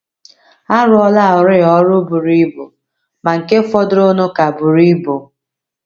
A rụọlarị ọrụ buru ibu, ma nke fọdụrụnụ ka buru ibu.